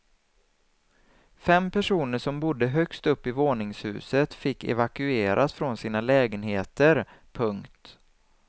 Fem personer som bodde högst upp i våningshuset fick evakueras från sina lägenheter. punkt